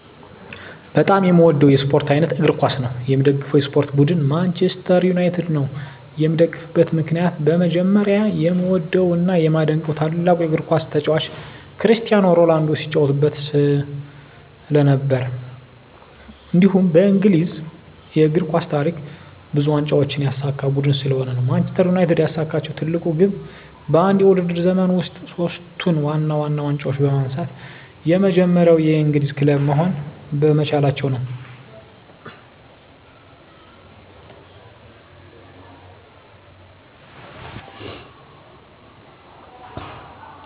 በጣም የምዎደው የስፖርት አይነት እግር ኳስ ነው። የምደግፈው የስፖርት ቡድን ማንችስተር ዩናይትድ ነው። የምደግፍበት ምክንያት በመጀመሪያ የምዎደው እና የማደንቀው ታላቁ የግር ኳስ ተጫዋች ክርስቲያኖ ሮናልዶ ሲጫዎትበት ስለነበር። እንዲሁም በእንግሊዝ የእግር ኳስ ታሪክ ብዙ ዋንጫዎችን ያሳካ ቡድን ስለሆነ ነው። ማንችስተር ዩናይትድ ያሳካችው ትልቁ ግብ በአንድ የውድድር ዘመን ውስጥ ሶስቱን ዋና ዋና ዋንጫዎች በማንሳት የመጀመሪያው የእንግሊዝ ክለብ መሆን በመቻላቸው ነው።